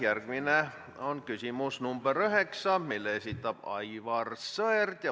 Järjekorras on küsimus nr 4, mille esitab Jaak Juske.